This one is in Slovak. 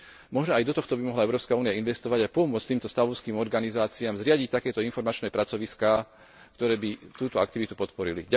Možno aj do tohto by mohla Európska únia investovať a pomôcť týmto stavovským organizáciám zriadiť takéto informačné pracoviská, ktoré by túto aktivitu podporili.